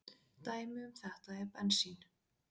Dæmi um þetta er bensín.